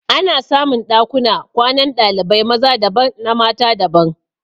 Ana samun Ɗakuna kwanan dalibai maza daban na mata daban